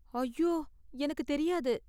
ஐயோ! எனக்கு தெரியாது